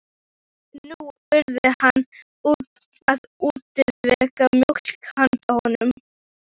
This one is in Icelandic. Nú yrði hann að útvega mjólk handa honum.